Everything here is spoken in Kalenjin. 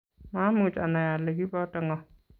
maamuch ani ale kiboto ng'o